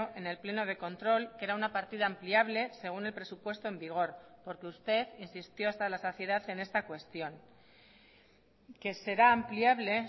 en el pleno de control que era una partida ampliable según el presupuesto en vigor porque usted insistió hasta la saciedad en esta cuestión que será ampliable